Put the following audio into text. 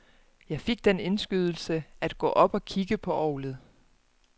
Jeg fik den indskydelse at gå op og kigge på orglet.